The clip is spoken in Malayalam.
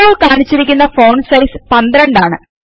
ഇപ്പോൾ കാണിച്ചിരിക്കുന്ന ഫോണ്ട് സൈസ് 12ആണ്